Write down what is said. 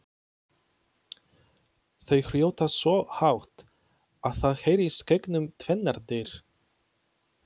Þau hrjóta svo hátt að það heyrist gegnum tvennar dyr!